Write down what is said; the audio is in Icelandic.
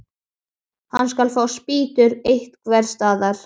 Hann skal fá spýtur einhvers staðar.